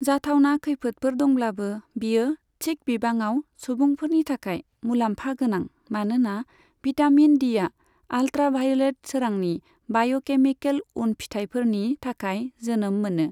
जाथावना खैफोदफोर दंब्लाबो, बियो थिक बिबाङाव सुबुंफोरनि थाखाय मुलाम्फा गोनां, मानोना भिटामिन डीआ आल्त्राभाय'लेत सोरांनि बाय'केमिकल उनफिथायफोरनि थाखाय जोनोम मोनो।